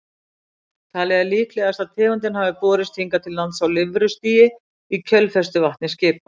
Talið er líklegast að tegundin hafi borist hingað til lands á lirfustigi í kjölfestuvatni skipa.